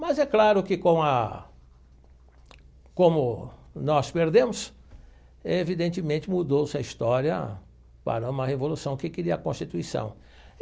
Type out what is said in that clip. Mas é claro que, como a como nós perdemos, evidentemente mudou-se a história para uma revolução que queria a Constituição.